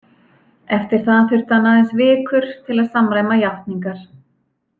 Eftir það þurfti hann aðeins vikur til að samræma játningar.